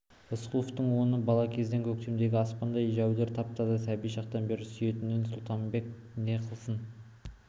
рысқұловтың оны бала кезден көктемдегі аспандай жәудір тап-таза сәби шақтан бері сүйетінін сұлтанбек не қылсын